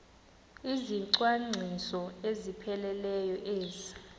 izicwangciso ezipheleleyo ezi